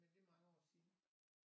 Men det er mange år siden